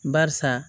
Barisa